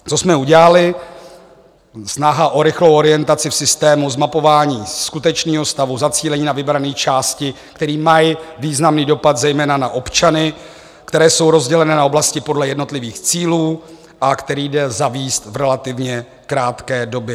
Co jsme udělali: snaha o rychlou orientaci v systému, zmapování skutečného stavu, zacílení na vybrané části, které mají významný dopad zejména na občany, které jsou rozděleny na oblasti podle jednotlivých cílů a které jdou zavést v relativně krátké době.